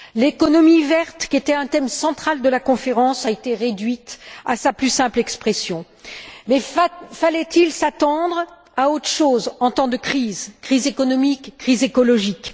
L'économie verte, qui était un thème central de la conférence, a été réduite à sa plus simple expression. Mais fallait il s'attendre à autre chose, en temps de crise, crise économique, crise écologique?